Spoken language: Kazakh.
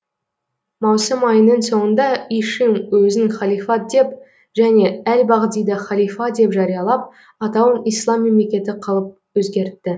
маусым айының соңында ишим өзін халифат деп және әл бағдиді халифа деп жариялап атауын ислам мемлекеті қылып өзгертті